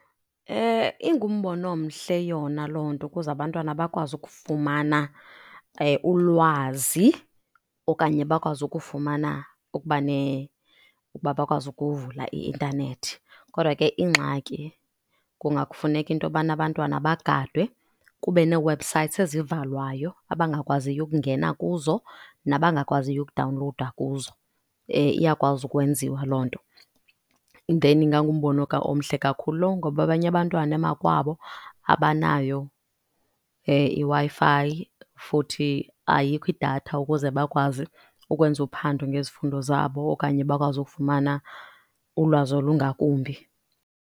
Ingumbono omhle yona loo nto ukuze abantwana bakwazi ukufumana ulwazi okanye bakwazi ukufumana ukubane ukuba bakwazi ukuvula i-intanethi. Kodwa ke ingxaki kungafuneka into yobana abantwana bagadwe kube nee-websites ezivaliweyo abangakwaziyo ukungena kuzo nabangakwaziyo ukudawunlowuda kuzo, iyakwazi ukwenziwa loo nto. Then ingangumbono omhle kakhulu loo ngoba abanye abantwana emakwabo abanayo iWi-Fi futhi ayikho idatha ukuze bakwazi ukwenza uphando ngezifundo zabo okanye bakwazi ukufumana ulwazi olungakumbi.